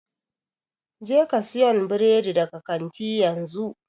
Jeka siyan burodi daga kanti a yanzu!